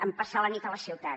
en passar la nit a la ciutat